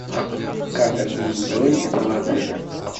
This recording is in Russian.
как отменить бронь этого отеля